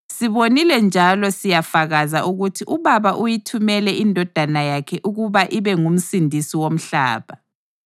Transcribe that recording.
Sibonile njalo siyafakaza ukuthi uBaba uyithumele iNdodana yakhe ukuba ibe nguMsindisi womhlaba.